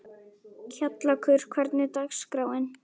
Kjallakur, hvernig er dagskráin?